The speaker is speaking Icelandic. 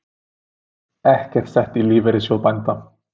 Ekkert sett í Lífeyrissjóð bænda